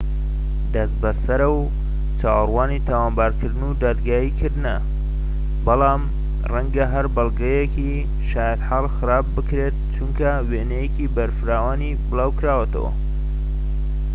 دەست بەسەرە و چاوەڕوانی تاوانبارکردن و دادگایی کردنەوە بەڵام ڕەنگە هەر بەڵگەیەکی شایەتحاڵ خراپ بکرێت چونکە وێنەکەی بە فراوانی بڵاوکراوەتەوە